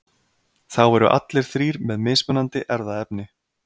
þá eru allir þrír með mismunandi erfðaefni